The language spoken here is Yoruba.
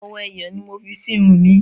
Owó ẹyọ ni mo fi sí irun mi.